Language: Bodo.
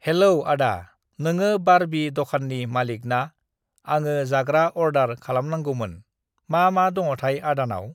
हेल्ल' (Hello) आदा नोङो बारबि (Barbie) दखाननि मालिक ना? आङो जाग्रा अरदार खालामगौमोन। मा मा दङथाय आदानाव?